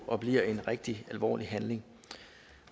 og bliver en rigtig alvorlig handling